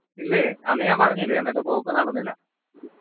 ഇല്ലേ അന്ന് ഞാൻ പറഞ്ഞില്ലേ അന്നത്തെ പോക്ക് നടന്നില്ല